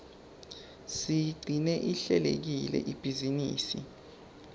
siyigcine ihlelekile ibhizinisi